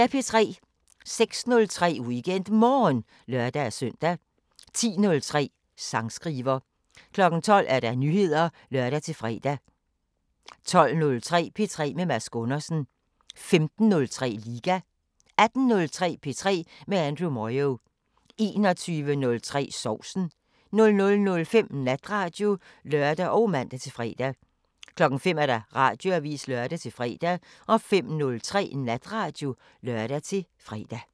06:03: WeekendMorgen (lør-søn) 10:03: Sangskriver 12:00: Nyheder (lør-fre) 12:03: P3 med Mads Gundersen 15:03: Liga 18:03: P3 med Andrew Moyo 21:03: Sovsen 00:05: Natradio (lør og man-fre) 05:00: Radioavisen (lør-fre) 05:03: Natradio (lør-fre)